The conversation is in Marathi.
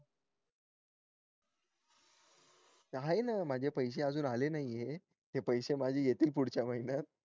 आहे ना माझे पैसे अजून आले नाहीये ते पैसे माझे येतील पुढच्या महिन्यात